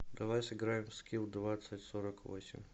давай сыграем в скил двадцать сорок восемь